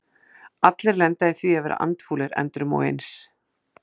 Allir lenda í því að vera andfúlir endrum og eins.